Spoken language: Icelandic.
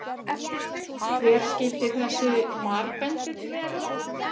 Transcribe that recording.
Hver skyldi þessi marbendill vera?